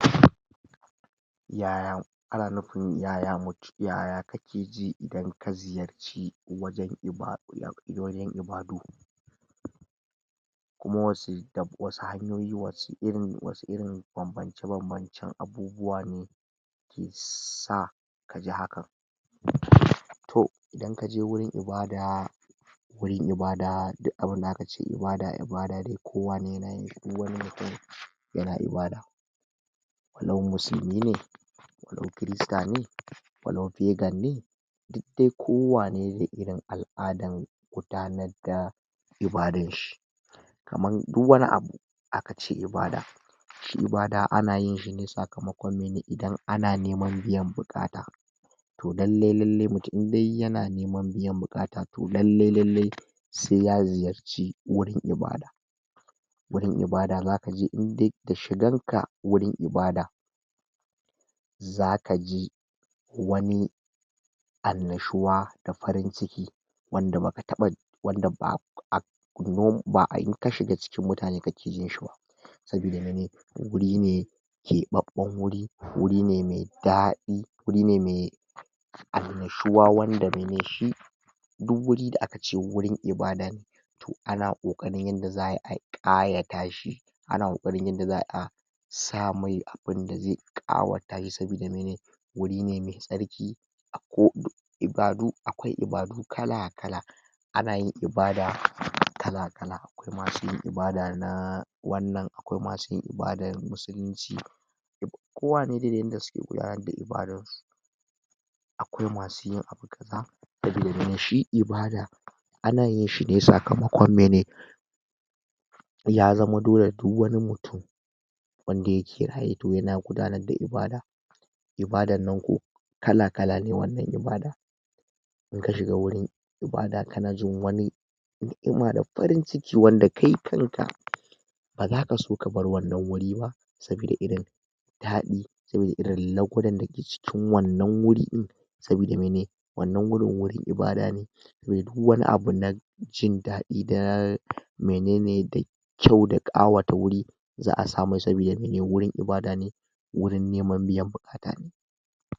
um Yaya ana nupin yaya mu yaya kakeji idan ka ziyarci wajan um ibadu? Kuma wasu hanyoyi wasu irin um banbance banbancen abubuwa ne ke sa kaji hakan? um Toh idan kaje wurin ibada wurin ibada duk abinda aka ce ibada ibada dai ko wane ya na yin shi duk wani mutum ya na ibada walau musilmi ne walau kirista ne walau pegan ne, duk dai ko wane da irin al'adan gudanar da ibadan shi kaman duk wani abu akace ibada shi ibada ana yinshi ne sakamakon mene? Idan ana neman biyan buƙata toh lallai lallai mutum indai ya na neman biyan buƙata toh lallai lallai se ya ziyarci wurin ibada. Wurin ibada za ka ji indai da shiganka wurin ibada za ka ji wani annashuwa da farin ciki wanda baka taɓa wanda ba um, ba'a in ka shiga cikin mutane kake jin shi ba sabida mene? Wuri ne keɓaɓɓan, wuri ne mai daɗi, wuri ne mai annashuwa, wanda mene shi, duk wuri da aka ce wurin ibada ne toh ana koƙarin yanda za'ayi a ƙayata shi, ana koƙarin yanda za'ayi a samun abinda ze ƙawatar sabida mene wuri ne mai tsarki um. Akwai ibadu kala-kala, ana yin ibada kala-kala da masu yin ibada na wannan, akwai masu yin ibadan musulunci. Kowane da yanda suke gudanar da ibadan su akwai masu yin abu kaza sabida mene? Shi ibada ana yinshi ne sakamakon mene? Ya zama dole duk wani mutum wanda yake raye toh ya na gudanar da ibada, ibadan nan ko kala-kala ne wannan ibada inka shiga wurin ibada kana jin wani ni'ima da farin ciki wanda kai kanka baza ka so kabar wannan wuri ba sabida irin daɗi sabida irin da suke cikin wannan guri ɗin sabida mene? wannan wurin, wurin ibada ne duk wani abu nan jindaɗi da menene da kyau da ƙawata wuri za'a samai sabida mene wurin ibada ne wurin neman biyan buƙata ne.